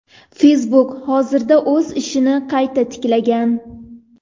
Facebook hozirda o‘z ishini qayta tiklagan.